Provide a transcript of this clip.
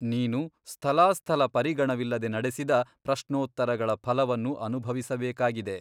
ನೀನು ಸ್ಥಲಾಸ್ಥಲ ಪರಿಗಣವಿಲ್ಲದೆ ನಡೆಸಿದ ಪ್ರಶ್ನೋತ್ತರಗಳ ಫಲವನ್ನು ಅನುಭವಿಸಬೇಕಾಗಿದೆ.